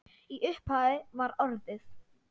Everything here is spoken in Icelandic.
Í upphafi var orðið.